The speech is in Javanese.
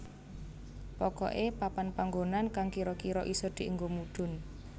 Pokoké papan panggonan kang kira kira isa dienggo mudhun